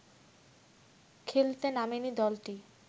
খেলতে নামেনি দলটি